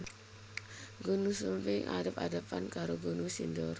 Gunung Sumbing adhep adhepan karo Gunung Sindoro